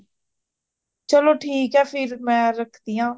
ਚਲੋ ਠੀਕ ਹੈ, ਫਿਰ ਮੈ ਹੁਣ ਰੱਖਦੀ ਆਂ